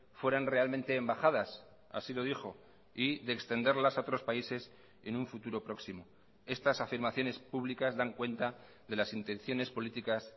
fueran realmente embajadas así lo dijo y de extenderlas a otros países en un futuro próximo estas afirmaciones públicas dan cuenta de las intenciones políticas